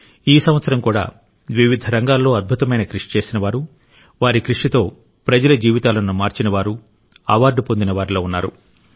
ఈ సంవత్సరం కూడా వివిధ రంగాల్లో అద్భుతమైన కృషి చేసినవారు వారి కృషితో ప్రజల జీవితాలను మార్చినవారు అవార్డు పొందిన వారిలో ఉన్నారు